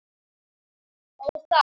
Ó, það.